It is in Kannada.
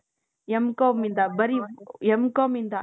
M.comಯಿಂದ ಬರೀ M.comಯಿಂದ